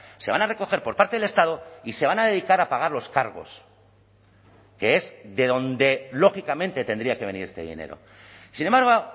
se van a recoger por parte del estado y se van a dedicar a pagar los cargos que es de dónde lógicamente tendría que venir este dinero sin embargo